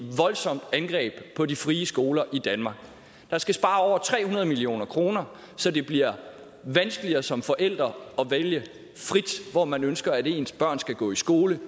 voldsomt angreb på de frie skoler i danmark der skal spare over tre hundrede million kr så det bliver vanskeligere som forældre at vælge frit hvor man ønsker at ens børn skal gå i skole